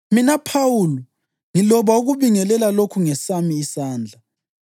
Mina, Phawuli, ngiloba ukubingelela lokhu ngesami isandla.